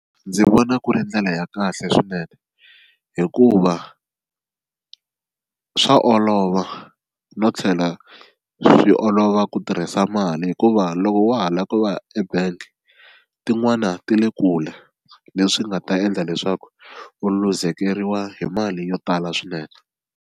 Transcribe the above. Ndzi vona ku ri ndlela ya kahle swinene hikuva swa olova no tlhela swi olova ku tirhisa mali hikuva loko wa ha lava ku ebank tin'wana ti le kule leswi nga ta endla leswaku u luzekeriwa hi mali yo tala swinene.